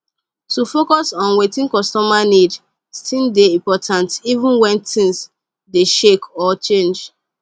to focus on wetin costumer need still dey important even wen things dey shake or change